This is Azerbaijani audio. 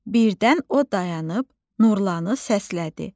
Birdən o dayanıb Nurlanı səslədi.